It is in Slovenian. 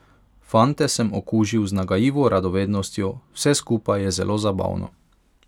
Fante sem okužil z nagajivo radovednostjo, vse skupaj je zelo zabavno.